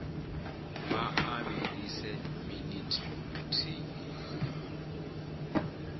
vha a vhilise minithi muthihi